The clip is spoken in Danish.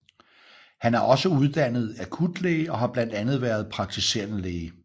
Han er også uddannet akutlæge og har blandt andet været praktiserende læge